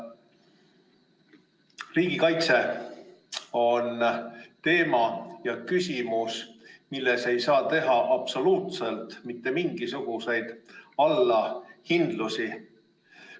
Riigikaitse on teema, milles ei saa teha absoluutselt mitte mingisuguseid allahindlusi.